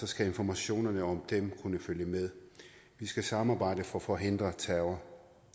skal informationerne om dem kunne følge med vi skal samarbejde for at forhindre terror